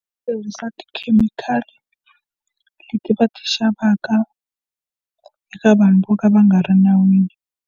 Ku tirhisa tikhemikhali leti va ti xavaka eka vanhu vo ka va nga ri nawini.